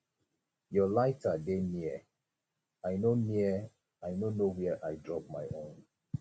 your lighter dey near i no near i no know where i drop my own